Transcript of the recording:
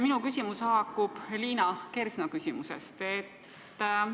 Minu küsimus haakub Liina Kersna küsimusega.